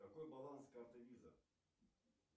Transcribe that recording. какой баланс карты виза